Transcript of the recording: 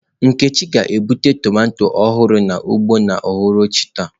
Nkechi ga-egbute tomato ọhụrụ n'ugbo n'uhuruchi taa.